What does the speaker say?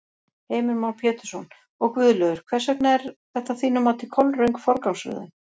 Heimir Már Pétursson: Og Guðlaugur, hvers vegna er þetta að þínu mati kolröng forgangsröðun?